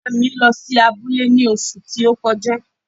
ìyá à mi lọ́ sí abule ní òṣù ti o kọjá.